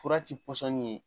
Fura ti pɔsɔni ye